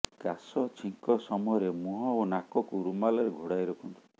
କାଶ ଛିଙ୍କ ସମୟରେ ମୁହଁ ଓ ନାକକୁ ରୁମାଲରେ ଘୋଡ଼ାଇ ରଖନ୍ତୁ